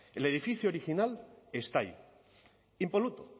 el edificio original está ahí impoluto